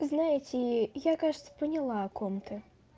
знаете я кажется поняла о ком ты